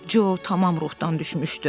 Co tamam ruhdan düşmüşdü.